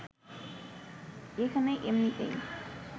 এখানে এমনিতেই